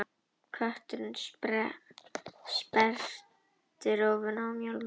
Kötturinn sperrti rófuna og mjálmaði.